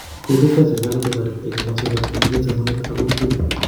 Kokotestai serikalit kotooret eng komoswek ab konyaiset, somanet ak kokwet